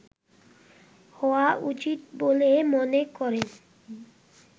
হওয়া উচিত বলে মনে করেন